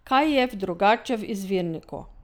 Kaj je drugače v izvirniku?